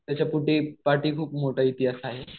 त्याच्या पुढेपाठी खूप मोठा इतिहास आहे.